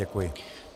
Děkuji.